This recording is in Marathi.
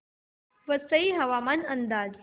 वसई हवामान अंदाज